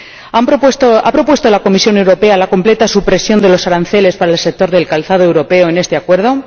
¿Ha propuesto la Comisión Europea la completa supresión de los aranceles para el sector del calzado europeo en este Acuerdo?